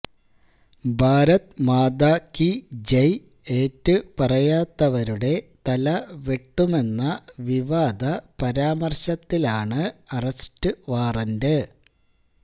ഭാരത് മാതാ കീ ജയ് ഏറ്റുപറയാത്തവരുടെ തലവെട്ടുമെന്ന വിവാദ പരാമര്ശത്തിലാണ് അറസ്റ്റു വാറന്റ്